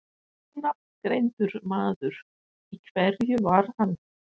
Ónafngreindur maður: Í hverju var hann?